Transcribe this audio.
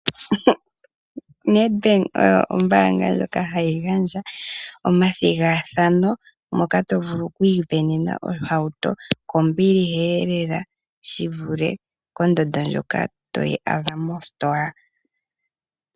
Ned Bank oyo ombaanga ndjoka hayi gandja omathigathano moka to vulu okwiivenena ohauto kombiliheelela, shivule kondando ndjoka toyi adha mositola.